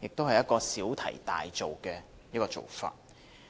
亦是小題大做。